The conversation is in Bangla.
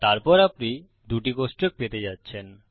তারপর আপনি দুটি কোষ্টক পেতে যাচ্ছেন